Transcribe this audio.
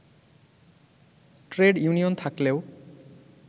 trade union থাকলেও